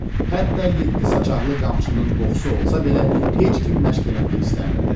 Hətta yeddi saçaqlı qamçının qoxusu olsa belə heç kim məşq eləmək istəmirdi.